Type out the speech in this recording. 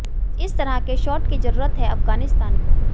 कुछ इस तरह के शॉट की जरूरत है अफगानिस्तान को